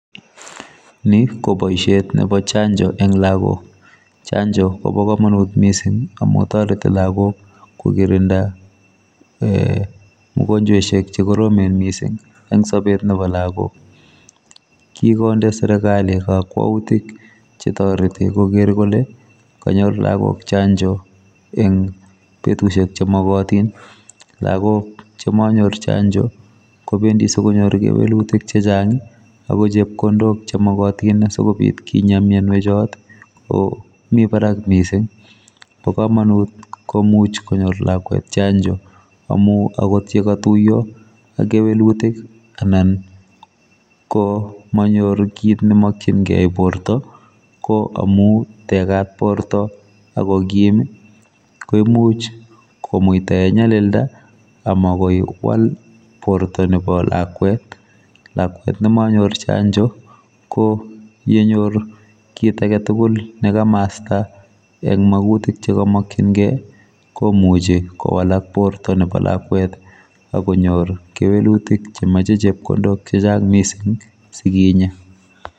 Ni ko boisiet nebo chanjoo en lagook, chanjoo Kobo kamanut missing amuun taretii lagook ko kirindaa magonjwaisiek che koromen Missing en sabeet nebo lagook kikonde serikali kakwautiik che taretii koger kole kanyoor lagook chanjoo en betusiek che magatiin, lagook che manyoor chanjoo kobendii sikonyoor kewelutiik che chaang ako chepkondook chemagatiin sikeyai boision notoon komii baraak missing bo kamanut komuuch konyoor lakwet chanjoo amuun akoot ye katuyaa ak kewelutiik ii anan ko manyoruu kit ne makyingei borto ko amuun tegaat bortoo ako kim koimuuch komuitaa en nyalildaa amamuuch kowaal borto nebo lakwet, lakwet nemanyor chanjoo ii ko yenyor kit age tugul nekamasta eng magutiik che kamakyingei komuchei kobiit kowalaak bortoo nebo lakwet agonyoor kewelutiik che machei chepkondook che chaang missing sikinyaa.